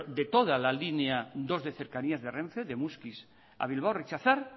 de toda la línea dos de cercanías de renfe de muskiz a bilbao rechazar